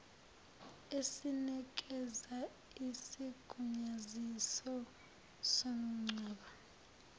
esinikeza isigunyaziso somngcwabo